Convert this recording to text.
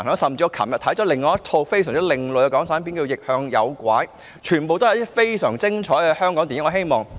我昨天亦欣賞到另一套另類港產片，名為"逆向誘拐"，上述都是非常精彩的香港電影。